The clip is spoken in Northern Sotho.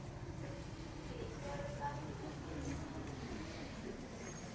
setšwe re ka se ye